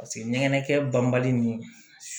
Paseke nɛnɛkɛ banbali ni